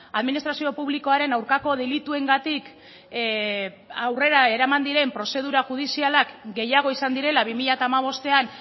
administrazio publikoaren aurkako delituengatik aurrera eraman diren prozedura judizialak gehiago izan direla bi mila hamabostean